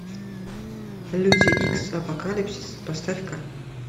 люди икс апокалипсис поставь ка